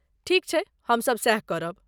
ठीक छै, हमसभ सैह करब।